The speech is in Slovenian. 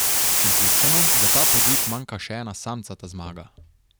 Šentjurčanom za ta podvig manjka še ena samcata zmaga.